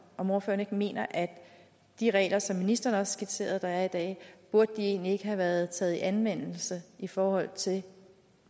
om ordføreren ikke mener at de regler som ministeren også skitserede der er i dag egentlig ikke burde have været taget i anvendelse i forhold til